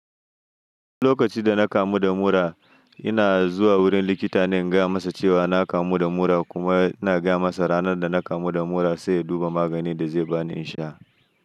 Wani lokaci da na kamu da mura. Ina zuwa wurin likita ne in gaya masa cewa na kamu da mura kuma ina gaya masa ranar da na kamu da mura sai ya duba maganin da zai ba ni in sha.